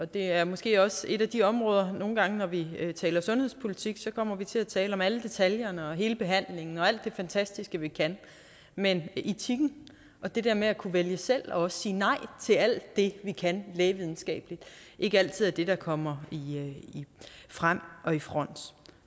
det er måske også et af de områder hvor vi nogle gange når vi taler sundhedspolitik kommer vi til at tale om alle detaljerne hele behandlingen og alt det fantastiske vi kan mens etikken og det der med at kunne vælge selv og sige nej til alt det vi kan lægevidenskabeligt ikke altid er det der kommer frem og i front